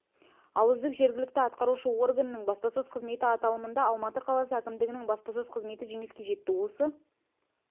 ал үздік жергілікті атқарушы органның баспасөз қызметі аталымында алматы қаласы әкімдігінің баспасөз қызметі жеңіске жетті осы